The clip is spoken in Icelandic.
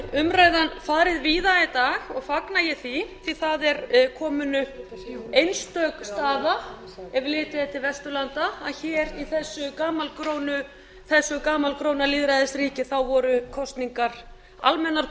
umræðan farið víða í dag og fagna ég því því það er komin upp einstök staða ef litið er til vesturlanda að hér í þessu gamalgróna þessu gamalgróna lýðræðisríki voru kosningar almennar